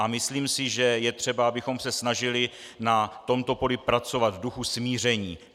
A myslím si, že je třeba, abychom se snažili na tomto poli pracovat v duchu smíření.